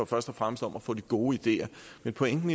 først og fremmest om at få de gode ideer men pointen